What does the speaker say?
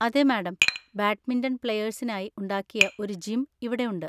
അതെ madam, badminton പ്ലയേഴ്‌സിനായി ഉണ്ടാക്കിയ ഒരു ജിം ഇവിടെ ഉണ്ട്.